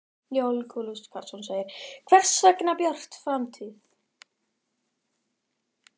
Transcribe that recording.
Jón Júlíus Karlsson: Hvers vegna Björt framtíð?